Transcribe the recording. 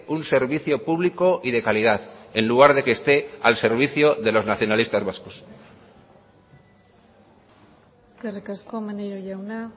un servicio público y de calidad en lugar de que esté al servicio de los nacionalistas vascos eskerrik asko maneiro jauna